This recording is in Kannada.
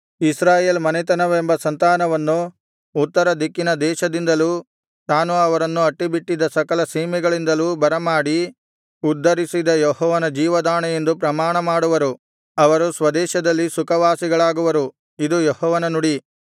ಇಸ್ರಾಯೇಲ್ ಮನೆತನವೆಂಬ ಸಂತಾನವನ್ನು ಉತ್ತರ ದಿಕ್ಕಿನ ದೇಶದಿಂದಲೂ ತಾನು ಅವರನ್ನು ತಳ್ಳಿಬಿಟ್ಟಿದ್ದ ಸಕಲ ಸೀಮೆಗಳಿಂದಲೂ ಬರಮಾಡಿ ಉದ್ಧರಿಸಿದ ಯೆಹೋವನ ಜೀವದಾಣೆ ಎಂದು ಪ್ರಮಾಣಮಾಡುವರು ಅವರು ಸ್ವದೇಶದಲ್ಲಿ ಸುಖವಾಸಿಗಳಾಗುವರು ಇದು ಯೆಹೋವನ ನುಡಿ